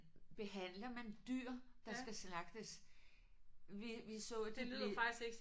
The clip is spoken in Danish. Behandler man dyr der skal slagtes vi vi så det